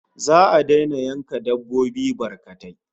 Za'a daina yanka dabbobi barkatai